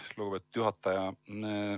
Aitäh, lugupeetud juhataja!